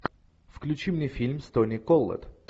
включи мне фильм с тони коллетт